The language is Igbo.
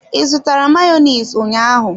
I zụtara Mayonezi ụnyaahụ?